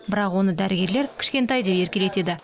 бірақ оны дәрігерлер кішкентай деп еркелетеді